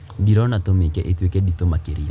dirona tūmīke ītuīke ditū makīria